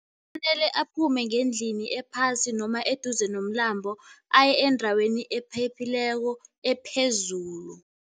Kufanele aphume ngendlini ephasi noma eduze nomlambo aye endaweni ephephileko ephezulu.